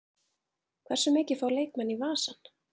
Hversu mikið fá leikmenn í vasann?